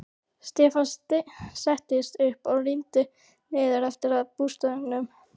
Stefán settist upp og rýndi niður eftir að bústaðnum.